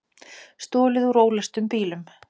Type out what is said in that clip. Stolið úr ólæstum bílum